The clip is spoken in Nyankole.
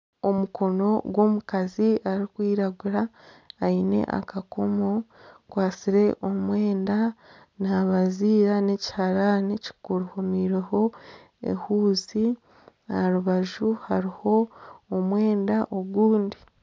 Omukono gw'omukazi arikwiragura aine akakomo akwatsire omwenda nabaziira nekiharani kiriho ehuzi aha rubaju hariho omwenda ogundi.